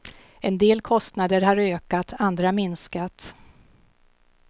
En del kostnader har ökat, andra minskat.